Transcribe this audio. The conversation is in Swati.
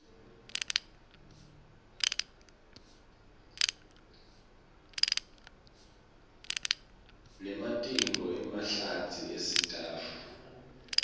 nematinyo emahlatsi esitsatfu